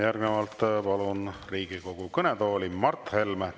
Järgnevalt palun Riigikogu kõnetooli Mart Helme.